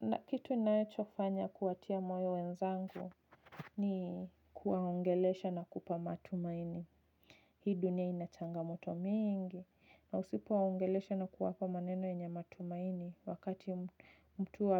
Na kitu ninachofanya kuwatia moyo wenzangu ni kuwaongelesha na kupa matumaini. Hii dunia ina changamoto mingi. Na usipowaongelesha na kuwapa maneno yenye matumaini wakati mtu